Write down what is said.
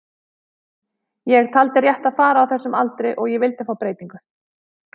Ég taldi rétt að fara á þessum aldri og ég vildi fá breytingu.